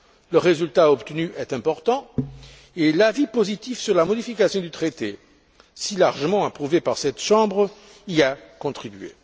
Le résultat obtenu est important et l'avis positif sur la modification du traité, si largement approuvé par cette chambre, y a contribué.